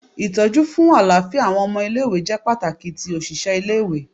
Itọju fun alafia awọn ọmọ ile-iwe jẹ pataki ti oṣiṣẹ ile-iwe